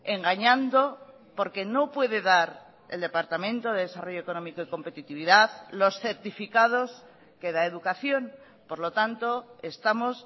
engañando porque no puede dar el departamento de desarrollo económico y competitividad los certificados que da educación por lo tanto estamos